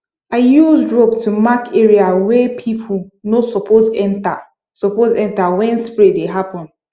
i use rope to mark area wey people no suppose enter suppose enter when spray dey happen